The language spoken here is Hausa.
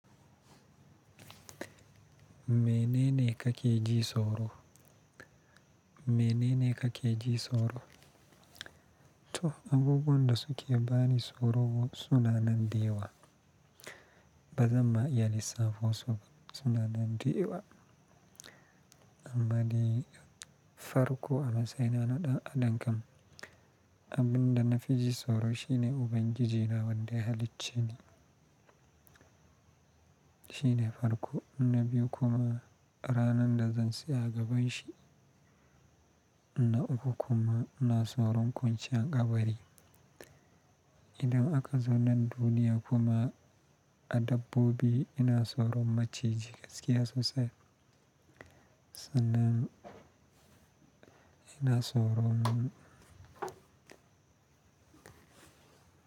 Me nene kake ji tsoro? Me nene kake ji tsoro? Toh abubuwan da suke bani tsoro suna nan biyu wa. Ba zan ma iya lissafin su ba, suna nan dayauwa. Amma dai farko amma sai na naɗa a dangam. Abin da na fi ji tsoro shine Ubangiji na wanda ya halicce ni. Shine farko, inabi kuma ranar da zan tsaya gaban shi. Na uku kuma ina tsoron ƙwanceyan ƙabari. Idan aka zo nan duniya kuma a dabbobi ina tsoron maciji gaskiya sosai. Sannan ina tsoron.